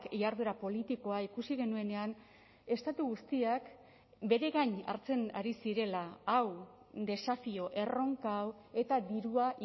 jarduera politikoa ikusi genuenean estatu guztiak bere gain hartzen ari zirela hau desafio erronka hau eta dirua